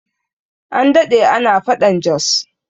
An daɗe ana faɗan Jos